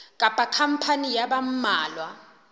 kapa khampani ya ba mmalwa